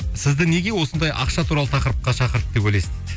сізді неге осындай ақша туралы тақырыпқа шақырды деп ойлайсың дейді